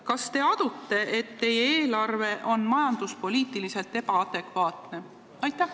Kas te adute, et teie eelarve on majanduspoliitiliselt ebaadekvaatne?